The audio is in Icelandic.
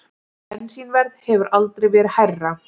Bensínverð hefur aldrei verið hærra